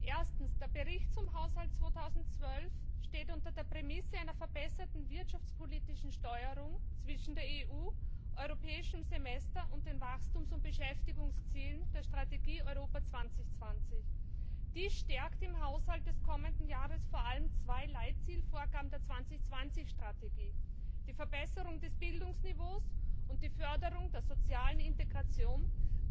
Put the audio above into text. Erstens Der Bericht zum Haushalt 2012 steht unter der Prämisse einer verbesserten wirtschaftspolitischen Steuerung zwischen der EU, dem Europäischen Semester und den Wachstums und Beschäftigungszielen der Strategie Europa 2020. Im Haushalt des kommenden Jahres werden vor allem zwei Leitzielvorgaben der Strategie gestärkt die Verbesserung des Bildungsniveaus und die Förderung der sozialen Integration, die